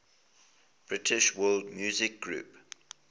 british world music groups